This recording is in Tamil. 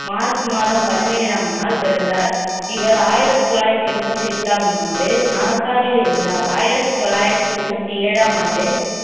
மார்ச் மாதம் பதினேழாம் நாள் பிறந்தார் இவர் ஆயிரத்தி தொள்ளாயிரத்தி எண்பத்தி எட்டாம் ஆண்டு நாசாவில் இருந்தார் ஆயிரத்தி தொள்ளாயிரத்தி தொண்ணூத்தி ஏழாம் ஆண்டு